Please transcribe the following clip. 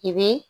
I bi